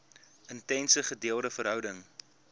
intense gedeelde verhouding